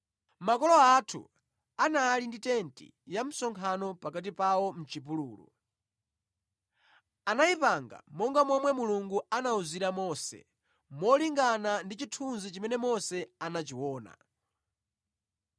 “Makolo athu anali ndi tenti ya msonkhano pakati pawo mʼchipululu. Anayipanga monga momwe Mulungu anawuzira Mose, molingana ndi chithunzi chimene Mose anachiona.